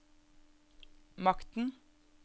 makten